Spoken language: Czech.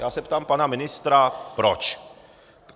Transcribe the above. Já se ptám pana ministra proč.